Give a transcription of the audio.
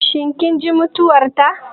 Shin kin ji mutuwar ta?